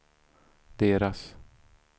deras